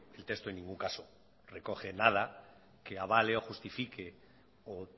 el texto en ningún caso recoge nada que avale o justifique o